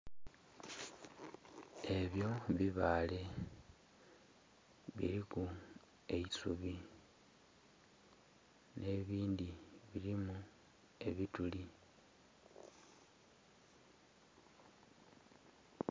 Ebyo bibaale biliku eisubi nh'ebindhi bilimu ebituli.